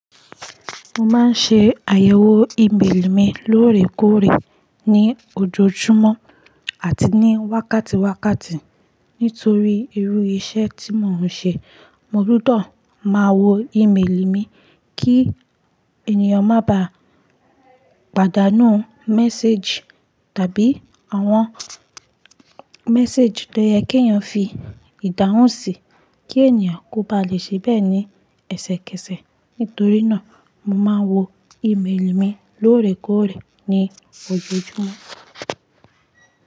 Mo máa ń ṣe àyẹ̀wò ìméèlì mi lóòrèkóòrè ní ojoojúmọ́ àti ní wákàtíwákàtí. Nítorí irú iṣẹ́ tí mò ń ṣe, mo gbúdọ̀ máa wo ìméèlì mi kí ènìyàn má ba pàdánù méséjì tàbí àwọn méséjì tó yẹ kí ènìyàn fi ìdáhùn sí, kí ènìyàn kó ba lè ṣe bẹ́ẹ̀ ní ẹsẹkẹsẹ. Nítorí náà, mo máa n wo ìméèlì mi lóòrèkóòrè ní ojoojúmọ́.